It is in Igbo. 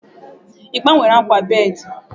Ị gbanwere akwa bedii?